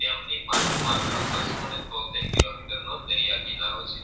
તેમની પાસે માત્ર બસ્સો તોતેર કિલોમીટર નો દરિયા કિનારો છે.